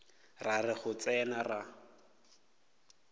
ra re go tsena ra